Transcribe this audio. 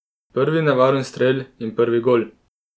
Prvi nevaren strel in prvi gol!